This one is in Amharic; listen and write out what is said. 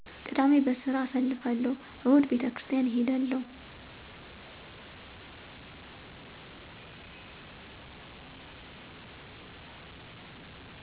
ቅዳሜ በስራ አሳልፍለሁ እሁድ ቤተክሪስታን እሔዳለሁ